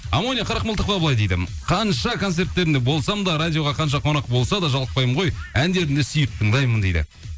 амония қырықмылтықова былай дейді қанша концерттерінде болсам да радиоға қанша қонақ болса да жалықпаймын ғой әндерін де сүйіп тыңдаймын дейді